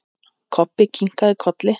Kobbi kinkaði kolli.